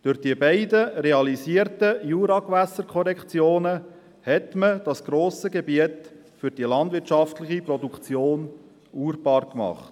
Durch die beiden realisierten Juragewässerkorrektionen hat man das grosse Gebiet für die landwirtschaftliche Produktion urbar gemacht.